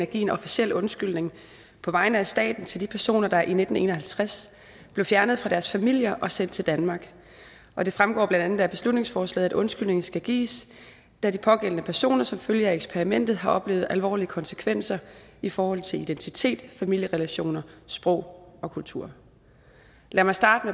at give en officiel undskyldning på vegne af staten til de personer der i nitten en og halvtreds blev fjernet fra deres familier og sendt til danmark og det fremgår blandt andet af beslutningsforslaget at undskyldningen skal gives da de pågældende personer som følge af eksperimentet har oplevet alvorlige konsekvenser i forhold til identitet familierelationer sprog og kultur lad mig starte